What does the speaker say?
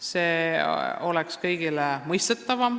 See oleks kõigile mõistetavam.